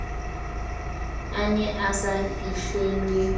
a ne a sa fihlelwe